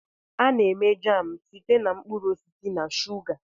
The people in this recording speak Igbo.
A na-eme jam site na mkpụrụ osisi na shuga.